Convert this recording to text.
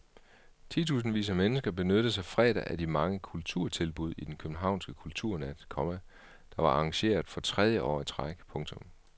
Tusindvis af mennesker benyttede sig fredag af de mange kulturtilbud i den københavnske kulturnat, komma der var arrangeret for tredje år i træk. punktum